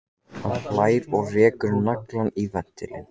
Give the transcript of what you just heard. Hann hlær og rekur naglann í ventilinn.